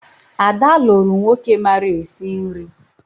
Ada lụrụ nwoke mara esi nri